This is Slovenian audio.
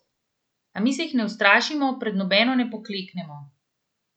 A mi se jih ne ustrašimo, pred nobeno ne pokleknemo.